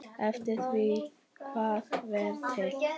Eftir því hvað hver vill.